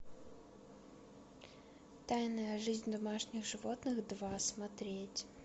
тайная жизнь домашних животных два смотреть